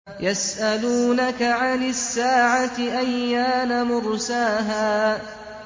يَسْأَلُونَكَ عَنِ السَّاعَةِ أَيَّانَ مُرْسَاهَا